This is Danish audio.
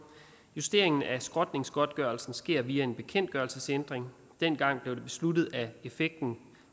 justeringen af skrotningsgodtgørelsen skete via en bekendtgørelsesændring dengang blev det besluttet at effekten